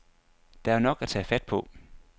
Der er jo nok at tage fat på.